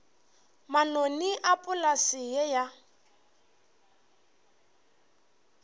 manoni a polase ye ya